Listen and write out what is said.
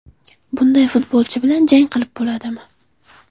Bunday futbolchi bilan jang qilib bo‘ladimi?